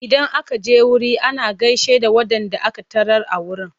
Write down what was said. Idan aka je wuri ana gaishe da waɗanda aka tarar a wurin.